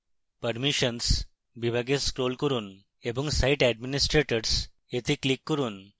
permissions বিভাগে scroll করুন এবং site administrators এ click করুন